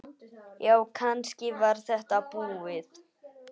Já, kannski var þetta búið.